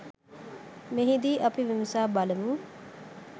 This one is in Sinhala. මෙහිදී අපි විමසා බලමු.